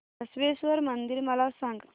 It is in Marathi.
बसवेश्वर मंदिर मला सांग